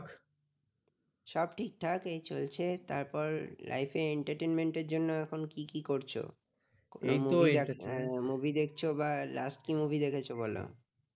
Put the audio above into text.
সব ঠিকঠাক এই চলছে তারপর life এ entertainment এর জন্য এখন কি কি করছো? movie দেখেছো movie দেখছো কি movie দেখেছো? বল